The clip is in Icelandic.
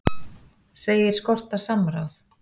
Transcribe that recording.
Segir skorta samráð